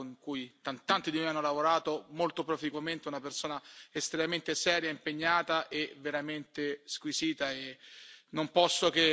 con cui ho personalmente lavorato, con cui tanti di noi hanno lavorato, molto proficuamente, una persona estremamente seria, impegnata e veramente squisita.